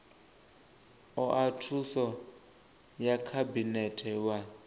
oa thuso ya khabinete wa